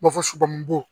Ma fɔ suko